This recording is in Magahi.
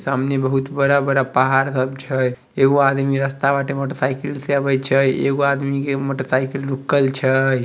सामने बहुत बड़ा-बड़ा पहाड़ सब छे एगो आदमी रास्ता बाटे मोटर साइकिल छे एगो आदमी के मोटर साइकिल रुकल छे।